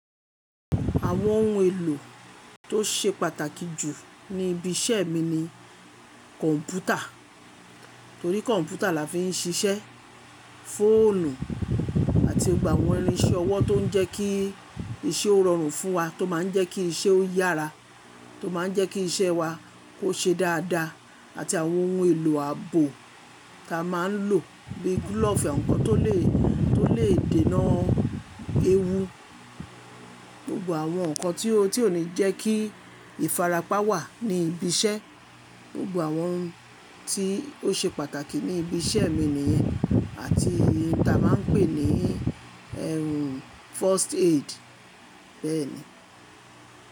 Àwọn ohun èlò tó ṣe pàtàkì jù ní ibi iṣẹ́ mi ni kọ̀ǹpútà torí kọ̀ǹpútà la fi ń ṣiṣẹ́, fóònù àti gbọgbo àwọn irinṣẹ́ ọwọ́ tó ń jẹ́ kí iṣẹ́ ó rọrùn fún wa, tó máa ń jẹ́ kí iṣẹ́ ó yára, tó máa ń jẹ́ kí iṣẹ́ wa kó ṣe dáadáa àti àwọn ohun èlò ààbò ta máa ń lò bí gúlọ̀ọ̀fù àwon nkọ́ tó lè, tó lè dènà ewu. Gbogbo àwọn nǹkan tí ó, tí ó ní jẹ́ kí ìfarapa wà ní ibi iṣẹ́, gbogbo àwọn ohun tí ó ṣe pàtàkì ní ibi iṣẹ́ mi nìyẹn àti ohun tí a máa ń pè ní ẹrù First Aid bẹ́ẹ̀ni.